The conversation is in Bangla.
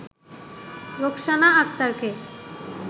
রোকসানা আক্তারকে